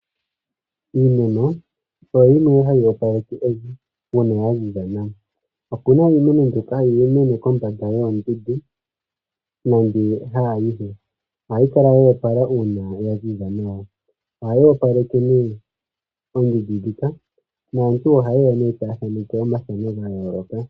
Iimeno oyo yimwe hayi opaleke evi uuna ya ziza nawa. Opu na iimeno mbyoka hayi mene kombanda yoondundu nenge haayihe. Ohayi kala yo opala uuna ya ziza nawa. Ohayi opaleke nee oondundu ndhika naantu ohaye ya nee taya thaneke omathano ga yooloka.